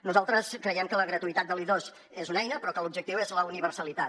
nosaltres creiem que la gratuïtat de l’i2 és una eina però que l’objectiu és la universalitat